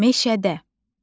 Meşədə.